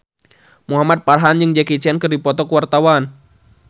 Muhamad Farhan jeung Jackie Chan keur dipoto ku wartawan